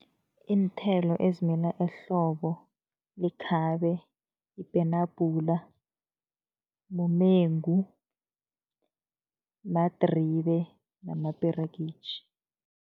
Iinthelo ezimila ehlobo, likhabe, ipenabhula, mumengu, madribe namaperegitjhi.